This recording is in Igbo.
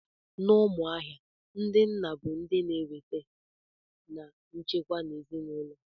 N'Umuahia, ndị nna bụ ndị na-eweta na nchekwa n'ezinaụlọ.